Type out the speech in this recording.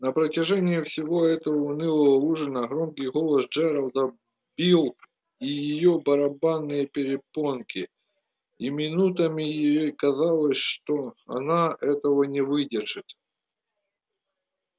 на протяжении всего этого унылого ужина громкий голос джералда бил в её барабанные перепонки и минутами ей казалось что она этого не выдержит